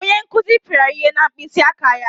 Onye nkuzi pịara ya ihe na mkpịsị aka ya.